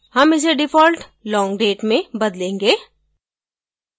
हम इसे default long date में बदलेंगे